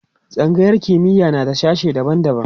tsangayar kimiya na da sashe daban daban